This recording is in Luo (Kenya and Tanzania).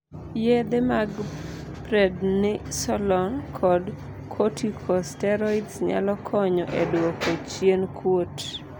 yedhe mag Prednisone kod corticosteroids nyalo konyo e dwoko chien kuot